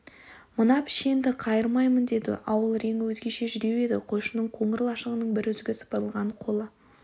мына пішенді қайырмаймын деді ауыл реңі өзгеше жүдеу еді қойшының қоңыр лашығының бір үзігі сыпырылған қолы